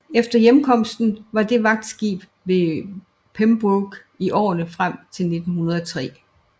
Efter hjemkomsten var det vagtskib ved Pembroke i årene frem til 1903